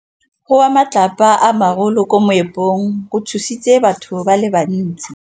Go wa ga matlapa a magolo ko moepong go tshositse batho ba le bantsi.